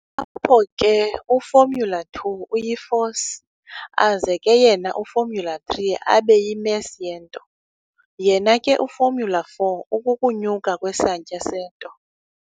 Apho ke u-formula_2 uyi-force, aze ke yena u-formula_3 abe yi-mass yento, yena ke u-formula_4 ukukunyuka kwesantya sento.